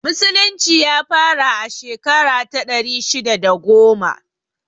Musulunci ya fara a shekara ta ɗari shidda da goma